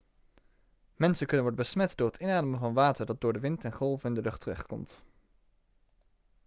mensen kunnen worden besmet door het inademen van water dat door de wind en golven in de lucht terechtkomt